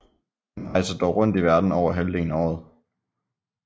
Han rejser dog rundt i verden over halvdelen af året